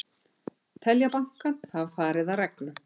Telja bankann hafa farið að reglum